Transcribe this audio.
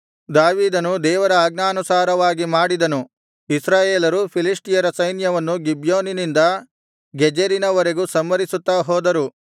ದಾವೀದನು ದೇವರ ಆಜ್ಞಾನುಸಾರವಾಗಿ ಮಾಡಿದನು ಇಸ್ರಾಯೇಲರು ಫಿಲಿಷ್ಟಿಯರ ಸೈನ್ಯವನ್ನು ಗಿಬ್ಯೋನಿನಿಂದ ಗೆಜೆರಿನ ವರೆಗೂ ಸಂಹರಿಸುತ್ತಾ ಹೋದರು